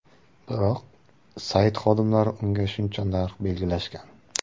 Biroq sayt xodimlari unga shuncha narx belgilashgan.